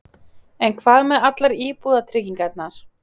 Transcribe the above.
En hvað með allar íbúðabyggingarnar?